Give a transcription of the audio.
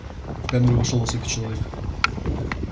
в камеру вошёл высокий человек